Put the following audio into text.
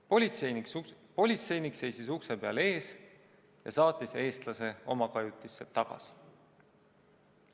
Politseinik seisis ukse peal ees ja saatis eestlase tema kajutisse tagasi.